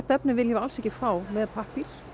efni viljum við alls ekki fá með pappír